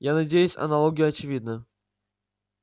я надеюсь аналогия очевидна